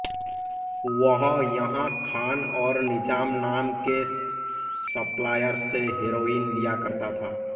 वह यहां खान और निजाम नाम के सप्लायर से हेरोइन लिया करता था